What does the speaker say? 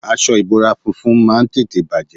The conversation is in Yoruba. Aṣọ ìbora funfun máa ń tètè bàjé.